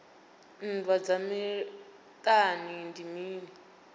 nndwa dza miṱani ndi mini